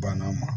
Banna ma